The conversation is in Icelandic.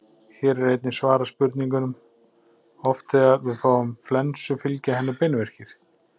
Hér er einnig svarað spurningunum: Oft þegar við fáum flensu fylgja henni beinverkir.